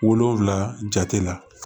Wolonvila jate la